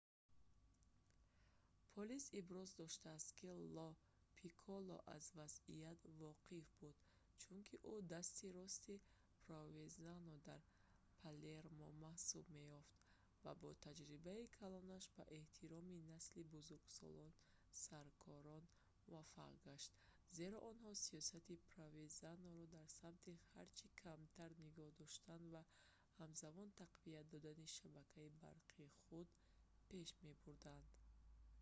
полис иброз доштааст ки ло пикколо аз вазъият воқиф буд чунки ӯ дасти рости провезано дар палермо маҳсуб меёфт ва бо таҷрибаи калонаш ба эҳтироми насли бузургсоли саркорон муваффақ гашт зеро онҳо сиёсати провезаноро дар самти ҳарчи камтар нигоҳ доштан ва ҳамзамон тақвият додани шабакаи барқи худ пеш мебурданд